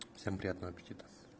всем приятного аппетита